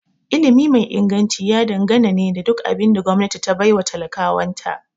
Ilimi mai Inganci ya dangana ne da duk abin da gwamnati ta baiwa talakawan ta